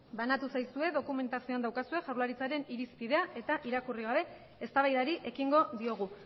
banatu zaizue dokumentazioan daukazue jaurlaritzaren irizpidea eta irakurri gabe eztabaidari ekingo diogu